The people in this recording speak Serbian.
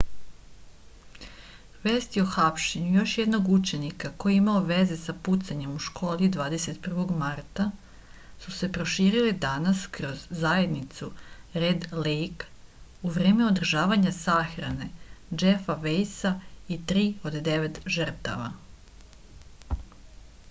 vesti o hapšenju još jednog učenika koji je imao veze sa pucanjem u školi 21. marta su se proširile danas kroz zajednicu red lejk u vreme održavanja sahrane džefa vejsa i tri od devet žrtava